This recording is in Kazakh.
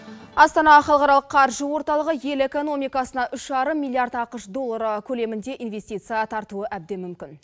астана халықаралық қаржы орталығы ел экономикасына үш жарым миллиард ақш доллары көлемінде инвестиция тартуы әбден мүмкін